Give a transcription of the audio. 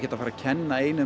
að fara að kenna einum